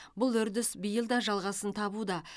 бұл үрдіс биыл да жалғасын табуда